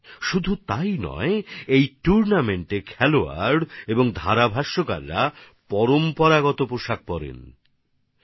শুধু তাই নয় এই টুর্নামেন্টে খেলোয়াড় আর ভাষ্যকারদের ঐতিহ্যবাহী পোশাকে দেখা যায়